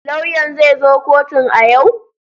Lauyan zai zo kotun a yau?